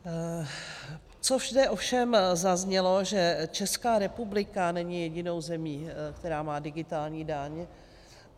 Co zde ovšem zaznělo, že Česká republika není jedinou zemí, která má digitální daň.